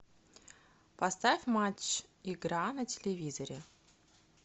поставь матч игра на телевизоре